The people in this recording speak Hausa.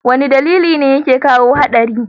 wane dalili ne yake kawo hadari?